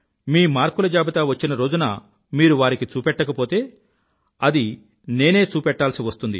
మీ మార్కుల జాబితా వచ్చిన రోజున మీరు వారికి చూపెట్టకపోతే అది నేనే చూపెట్టాల్సి వస్తుంది